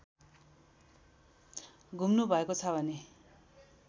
घुम्नुभएको छ भने